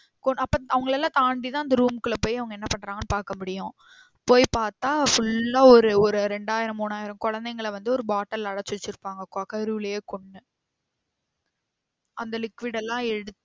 அப்ப அவங்கலள்ளலாம் தாண்டி தான் அந்த room குள்ள போய் அவங்க என்ன பண்றாங்கன்னு பாக்க முடியும். போய் பாத்தா full ஆ ஒரு ஒரு ரெண்டாயிரம் மூனாயிரம் கொளந்தைங்கள வந்து ஒரு bottle ல அடைச்சி வச்சிருபாங்க கருவுலயே கொன்னு அந்த liquid எல்லாம் எடுத்து